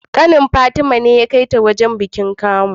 Kanin fatima ne ya kai ta wajan bikin kamu